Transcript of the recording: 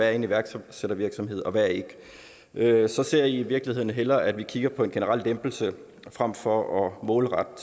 er en iværksættervirksomhed og hvad der ikke er så ser jeg i virkeligheden hellere at vi kigger på en generel lempelse frem for at målrette